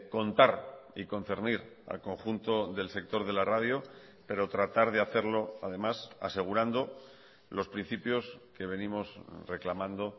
contar y concernir al conjunto del sector de la radio pero tratar de hacerlo además asegurando los principios que venimos reclamando